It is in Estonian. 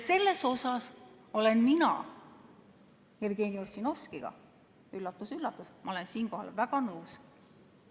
Selles olen mina Jevgeni Ossinovskiga, üllatus-üllatus, väga nõus.